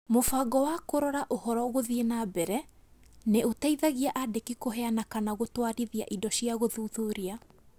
Mũbango wa Kũrora Ũhoro Gũthiĩ na mbere nĩ ũteithagia aandĩki kũheana kana gũtwarithia indo cia gũthuthuria.